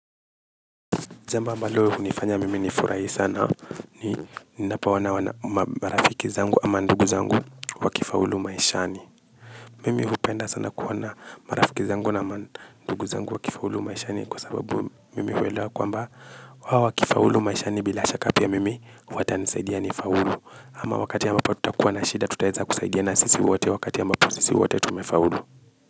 Jambo mbalo hunifanya mimi nifurahi sana, ni ninapoona marafiki zangu ama ndugu zangu wakifaulu maishani. Mimi hupenda sana kuona marafiki zangu na mandugu zangu wakifaulu maishani kwa sababu, mimi huelewa kwamba hao wakifaulu maishani bila shaka pia mimi watanisaidia nifaulu. Ama wakati ambapo tutakuwa na shida tutaeza kusaidiana sisi wote, wakati ambapo sisi wote tumefaulu.